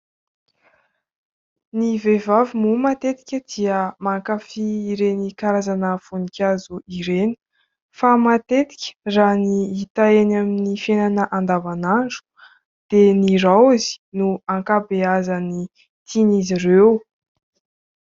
Ny vehivavy moa matetika dia mankafia ireny karazana voninkazo ireny. Fa matetika raha ny hita eny amin'ny fiainana andavan'andro dia ny raozy no ankabeazan'ny tian'izy ireo.